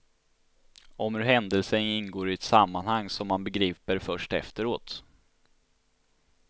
Om hur händelser ingår i ett sammanhang, som man begriper först efteråt.